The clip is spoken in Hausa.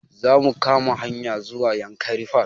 Za mu kama hanya zuwa yankari park